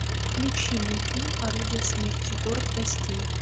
включи мне фильм орудие смерти город костей